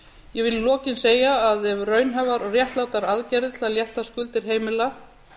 ég vil í lokin segja að ef raunhæfar og réttlátar aðgerðir til að létta skuldir heimila